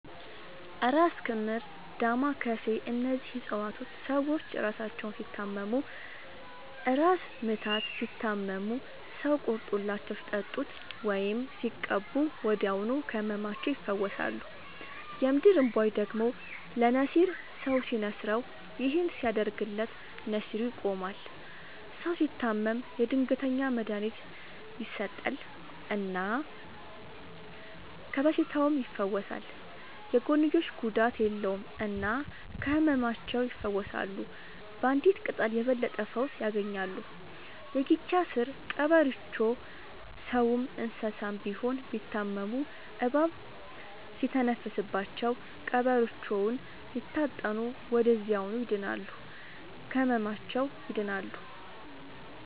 እራስ ክምር ዳማ ከሴ እነዚህ ፅፀዋቶች ሰዎች እራሳቸውን ሲታመሙ እራስ ምታት ሲታመሙ ሰው ቆርጦላቸው ሲጠጡት ወይም ሲቀቡ ወዲያውኑ ከህመማቸው ይፈወሳሉ። የምድር እንቧይ ደግሞ ለነሲር ሰው ሲንስረው ይህን ሲያደርግለት ነሲሩ ይቆማል። ሰው ሲታመም የድንገተኛ መድሀኒት ይሰጠል እና ከበሽታውም ይፈወሳል። የጎንዮሽ ጉዳት የለውም እና ከህመማቸው ይፈውሳሉ ባንዲት ቅጠል የበለጠ ፈውስ ያገኛሉ። የጊቻ ስር ቀበሮቾ ሰውም እንሰሳም ቢሆን ቢታመሙ እባብ ሲተነፍስባቸው ቀብሮቾውን ሲታጠኑ ወደዚያውኑ ይድናሉ። ከህመማቸው ይድናሉ…ተጨማሪ ይመልከቱ